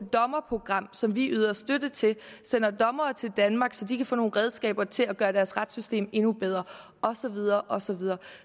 dommerprogram som vi yder støtte til sender dommere til danmark så de kan få nogle redskaber til at gøre deres retssystem endnu bedre og så videre og så videre